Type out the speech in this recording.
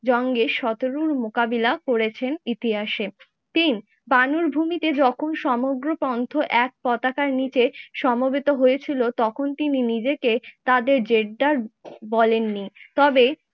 জংগে শতরুল মোকাবিলা করেছেন ইতিহাসে। তিন বানর ভূমিতে যখন সমগ্র পন্থ এক পতাকার নিচে সমবেত হয়েছিল তখন তিনি নিজেকে তাদের জেদ্দার বলেননি। তবে